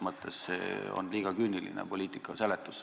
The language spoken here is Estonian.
See on teil liiga küüniline arusaam poliitikast.